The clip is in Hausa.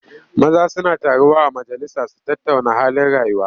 Maza suna taruwa a majalisa su tattauna halin rayuwa.